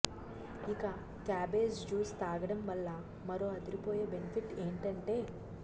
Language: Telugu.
ఇక క్యాబేజ్ జ్యూస్ తాగడం వల్ల మరో అదిరిపోయే బెనిఫిట్ ఏంటంటే